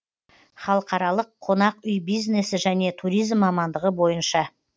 халқаралық қонақ үй бизнесі және туризм мамандығы бойынша